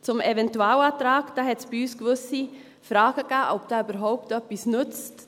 Zum Eventualantrag gab es bei uns gewisse Fragen, ob dieser überhaupt etwas nützt.